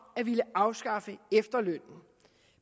at ville afskaffe efterlønnen